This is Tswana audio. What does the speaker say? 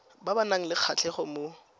ba nang le kgatlhego mo